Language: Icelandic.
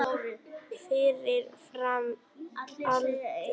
Fyrir framan Öldu.